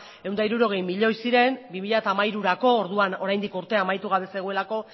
ehun eta hirurogei milioi ziren bi mila hamairurako orduan oraindik urtea amaitu gabe zegoelako